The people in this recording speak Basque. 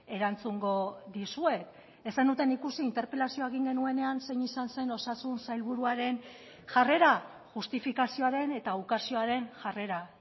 erantzungo dizuet ez zenuten ikusi interpelazioa egin genuenean zein izan zen osasun sailburuaren jarrera justifikazioaren eta ukazioaren jarrera